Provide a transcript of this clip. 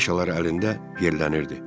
Afışalar əlində yerlənirdi.